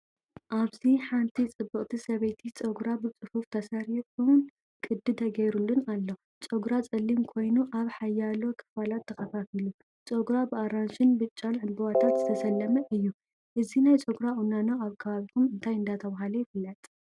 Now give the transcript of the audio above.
ኣብዚ ሓንቲ ጽብቕቲ ሰበይቲ ጸጉራ ብጽፉፍ ተሰሪዑን ቅዲ ተገይሩሉን ኣሎ። ጸጉራ ጸሊም ኮይኑ ኣብ ሓያሎ ክፋላት ተኸፋፊሉ። ጸጉራ ብኣራንሺን ብጫን ዕምባባታት ዝተሰለመ እዩ። እዚናይ ጸጉራ ቁናኖ ኣብ ከባቢኩም እንታይ እንዳተባሃለ ይፍለጥ ?